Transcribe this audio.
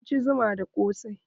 Mun ci zuma da ƙosai.